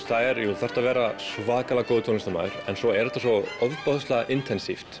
þú þarft að vera svakalega góður tónlistarmaður en svo er þetta svo